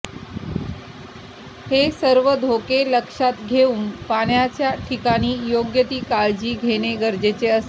हे सर्व धोके लक्षात घेऊन पाण्याच्या ठिकाणी योग्य ती काळजी घेणे गरजेचे असते